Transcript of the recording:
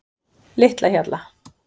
Litlahjalla